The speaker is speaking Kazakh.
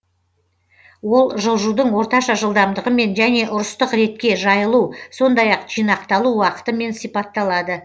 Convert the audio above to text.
ол жылжудың орташа жылдамдығымен және ұрыстық ретке жайылу сондай ақ жинақталу уақытымен сипатталады